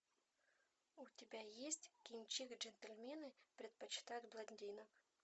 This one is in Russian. у тебя есть кинчик джентльмены предпочитают блондинок